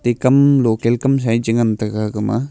kam local kamsa ye che ngan tega agma.